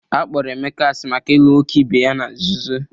Akpọrọ Emeka asị maka ịlụ nwoke ebe ya na nzuzo